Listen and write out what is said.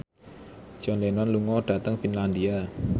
John Lennon lunga dhateng Finlandia